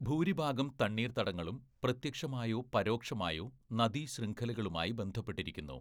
ഭൂരിഭാഗം തണ്ണീർത്തടങ്ങളും പ്രത്യക്ഷമായോ പരോക്ഷമായോ നദീശൃംഖലകളുമായി ബന്ധപ്പെട്ടിരിക്കുന്നു.